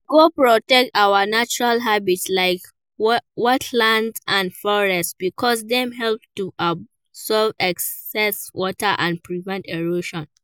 We go protect our natural habitats like wetlands and forests because dem help to absorb excess water and prevent erosion.